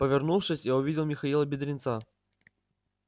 повернувшись я увидел михаила бедренца